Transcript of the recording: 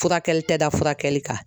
Furakɛli tɛ da furakɛli kan.